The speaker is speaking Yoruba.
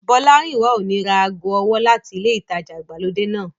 Bọ́lárìnwá ò ní ra ago ọwọ́ láti ilé ìtajà ìgbàlódé náà